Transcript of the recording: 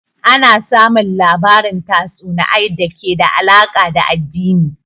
Ana samun labarin tatsuniay da ke da alaka da addini